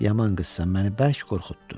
Yaman qızsan, məni bərk qorxutdun.